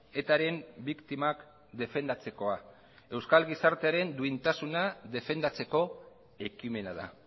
etaren biktimak defendatzekoa euskal gizartearen duintasuna defendatzeko ekimena da